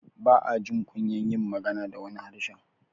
ba ajin kunyar yin magana da wani harshen